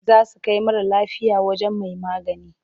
Za su kai mara lafiyar wajen mai magani.